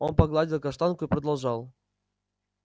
он погладил каштанку и продолжал